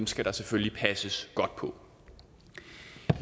skal der selvfølgelig passes godt på